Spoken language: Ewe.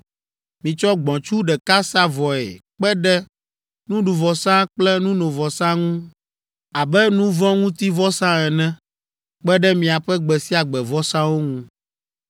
Mitsɔ gbɔ̃tsu ɖeka sa vɔe kpe ɖe nuɖuvɔsa kple nunovɔsa ŋu abe nu vɔ̃ ŋuti vɔsa ene kpe ɖe miaƒe gbe sia gbe vɔsawo ŋu.